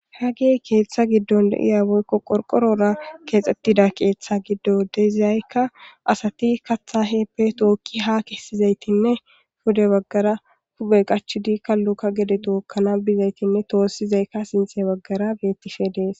hagey keeththa giddon deiya boykko qorqorora keexxettida keeththa giddo deziyaykka asati katha heeppe tookki ha kessizaytinne pude baggara hube qachu di kalluka gede tookkana bizaytinne toossizaykka sinte baggara beettishe dees